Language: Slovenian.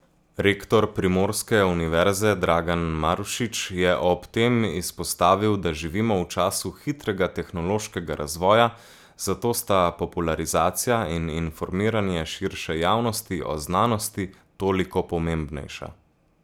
Rektor primorske univerze Dragan Marušič je ob tem izpostavil, da živimo v času hitrega tehnološkega razvoja, zato sta popularizacija in informiranje širše javnosti o znanosti toliko pomembnejša.